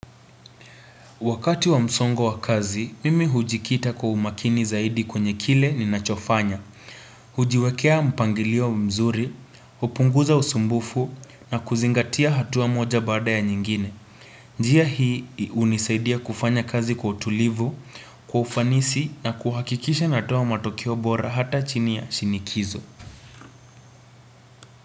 Wakati wa msongo wa kazi, mimi hujikita kwa umakini zaidi kwenye kile ni nachofanya. Ujiwekea mpangilio mzuri, hupunguza usumbufu na kuzingatia hatuwa moja bada ya nyingine. Njia hii hunisaidia kufanya kazi kwa utulivu, kwa ufanisi na kuhakikisha natoa matokio bora hata chini ya shinikizo.